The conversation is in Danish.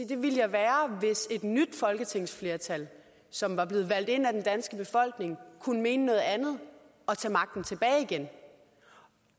det ville jeg være hvis et nyt folketingsflertal som var blevet valgt ind af den danske befolkning kunne mene noget andet og tage magten tilbage igen